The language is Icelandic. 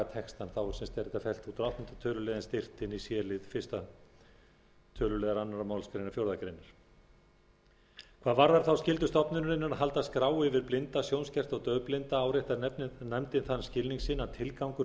textann er þetta fellt út og áttunda töluliðar steypt inn í c lið fyrsta tölulið annarri málsgrein fjórðu greinar hvað varðar þá skyldu stofnunarinnar að halda skrá yfir blinda sjónskerta og daufblinda áréttar nefndin þann skilning sinn að tilgangur